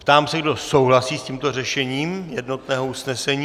Ptám se, kdo souhlasí s tímto řešením jednotného usnesení.